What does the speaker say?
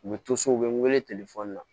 U bɛ to so u bɛ n wele na